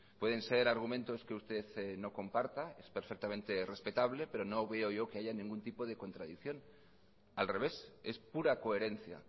pueden ser argumentos que usted no comparta es perfectamente respetable pero no veo yo que haya ningún tipo de contradicción al revés es pura coherencia